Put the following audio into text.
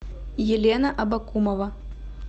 елена абакумова